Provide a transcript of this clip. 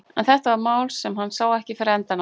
En þetta var mál sem hann sá ekki fyrir endann á.